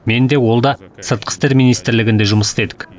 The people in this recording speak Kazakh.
мен де ол да сыртқы істер министрлігінде жұмыс істедік